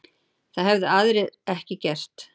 Það hefðu aðrir ekki gert